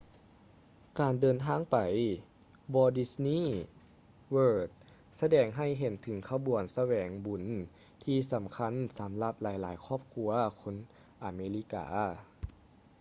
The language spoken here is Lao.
ການເດີນທາງໄປ walt disney world ສະແດງໃຫ້ເຫັນເຖິງຂະບວນສະແຫວງບຸນທີ່ສຳຄັນສຳລັບຫຼາຍໆຄອບຄົວຄົນອາເມລິກາ